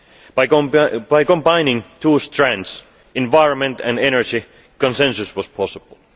By combining two strands environment and energy consensus was possible.